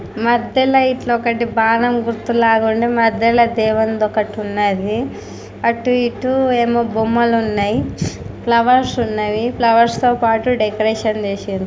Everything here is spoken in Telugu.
మధ్యల ఇట్లా ఒకటి బాణం గుర్తు లాగా ఉండి మధ్యలో దేవుంది ఒకటి ఉన్నది అటు ఇటు ఏమో బొమ్మలు ఉన్నాయి. ఫ్లవర్స్ ఉన్నవి. ఫ్లవర్స్ తో పాటు డెకరేషన్ చేసిండ్రు.